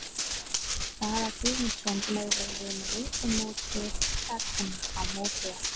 Daða Guðmundsson megum við með engu móti egna á móti okkur.